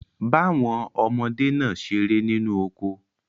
Ba won omode naa sere ninu oko